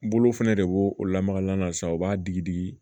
Bolo fɛnɛ de b'o o lamaga n'a san u b'a digi digi